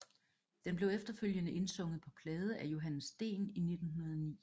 Den blev efterfølgende indsunget på plade i Johannes Dehn i 1909